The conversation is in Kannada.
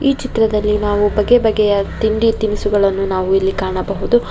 ಈ ಚಿತ್ರದಲ್ಲಿ ನಾವು ಬಗೆ ಬಗೆಯ ತಿಂಡಿ ತಿನಿಸುಗಳನ್ನು ನಾವು ಇಲ್ಲಿ ಕಾಣಬಹುದು.